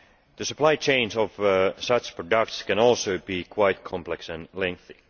The supply chains of such products can also be quite complex and lengthy.